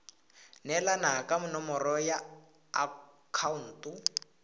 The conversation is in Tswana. neelana ka nomoro ya akhaonto